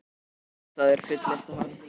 Þetta er fullkominn felustaður, fullyrti hann.